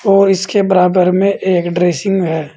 और इसके बराबर में एक ड्रेसिंग है।